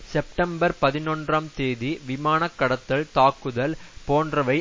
September பதினொன்றாம் தேதியின் விமான கடத்தல் தாக்குதல் போன்றவை